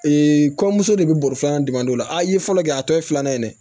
kɔɲɔmuso de bɛ bɔrɔ filanan jumɛn don o la a ye fɔlɔ kɛ a tɔ ye filanan ye dɛ